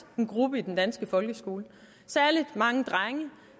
en gruppe i den danske folkeskole særligt mange drenge